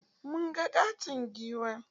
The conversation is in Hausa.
Mun ga ƙaton giwa.